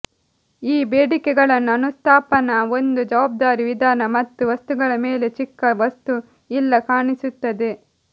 ಈ ಬೇಡಿಕೆಗಳನ್ನು ಅನುಸ್ಥಾಪನಾ ಒಂದು ಜವಾಬ್ದಾರಿ ವಿಧಾನ ಮತ್ತು ವಸ್ತುಗಳ ಮೇಲೆ ಚಿಕ್ಕ ವಸ್ತು ಇಲ್ಲ ಕಾಣಿಸುತ್ತದೆ